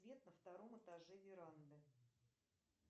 свет на втором этаже веранды